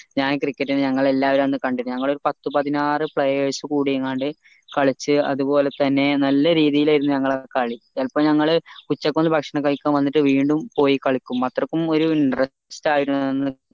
ഞാൻ cricket നെ ഞങ്ങൾ എല്ലാവരും അന്ന് കണ്ടിന് ഞങ്ങളൊരു പത്ത് പതിനാറ് players കൂടീങ്ങാട് കളിച്ച അത്പോലെ തന്നെ നല്ല രീതിട്ടിലായിരുന്നു ഞങ്ങളെ കളി ഇപ്പൊ ഞങ്ങൾ ഉച്ചക്ക് ഒന്ന് ഭക്ഷണം കഴിക്കാൻ വന്നിട്ട് വീണ്ടും പോയി കളിക്കും അത്രക്കും ഒരു interest ആയിരുന്നു അന്ന്